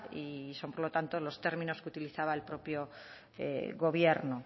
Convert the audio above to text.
y son por lo tanto los términos que utilizaba el propio gobierno